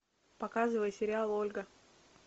показывай сериал ольга